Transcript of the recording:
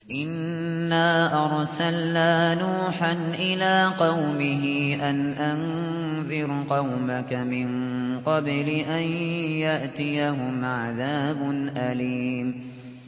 إِنَّا أَرْسَلْنَا نُوحًا إِلَىٰ قَوْمِهِ أَنْ أَنذِرْ قَوْمَكَ مِن قَبْلِ أَن يَأْتِيَهُمْ عَذَابٌ أَلِيمٌ